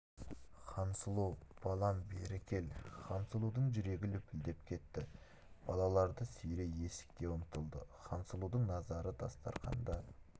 хансұлу балам бері кел хансұлудың жүрегі лүпілдеп кетті балаларды сүйрей есікке ұмтылды хансұлудың назары дастарқанда